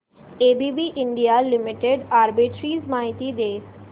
ABB India limited arbitrage माहिती दे